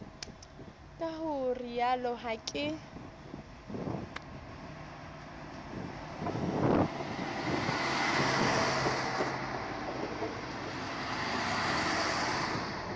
ka ho rialo ha ke